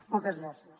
moltes gràcies